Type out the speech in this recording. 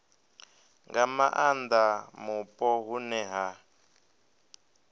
nga maanda mupo hune ha